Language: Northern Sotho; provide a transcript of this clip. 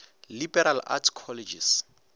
liberal arts colleges